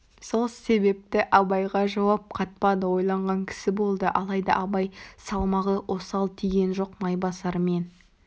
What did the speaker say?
сол себепті абайға жауап қатпады ойланған кісі болды қалайда абай салмағы осал тиген жоқ майбасар мен